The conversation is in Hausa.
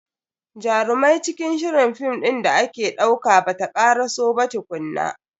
Jarumai cikin shirin film din da ake dauka bata karaso ba tukunna.